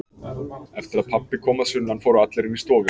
Eftir að pabbi kom að sunnan fóru allir inn í stofu.